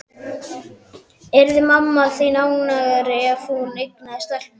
Yrði mamma þín ánægðari ef hún eignaðist stelpu?